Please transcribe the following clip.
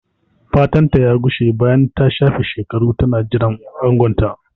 Fatanta ya gushe bayan ta shafe shekaru tana jiran angonta.